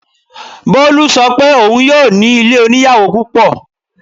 Bolu ṣọ pé òun yóò ní ilé oníyàwò púpọ̀.